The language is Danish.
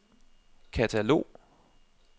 katalog